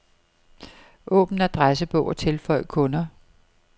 Åbn adressebog og tilføj kunder.